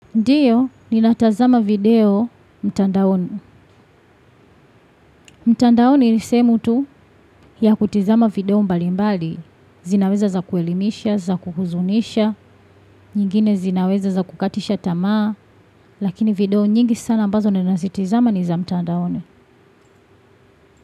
Ndiyo, ninatazama video mtandaoni. Mtandaoni ni sehemu tu ya kutazama video mbali mbali. Zinaweza za kuelimisha, za kuhuzunisha. Nyingine zinaweza za kukatisha tamaa. Lakini video nyingi sana ambazo nina zitizama ni za mtandaoni.